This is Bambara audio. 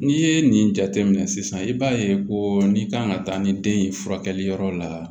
N'i ye nin jateminɛ sisan i b'a ye ko n'i kan ka taa ni den ye furakɛli yɔrɔ la